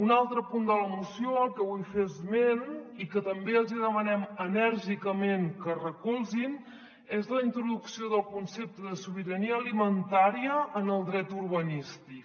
un altre punt de la moció del que vull fer esment i que també els hi demanem enèrgicament que recolzin és la introducció del concepte de sobirania alimentària en el dret urbanístic